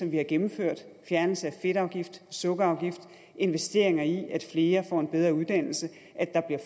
vi har gennemført fjernelse af fedtafgift og sukkerafgift investeringer i at flere får en bedre uddannelse